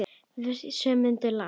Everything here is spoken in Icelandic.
Og við sömdum lag.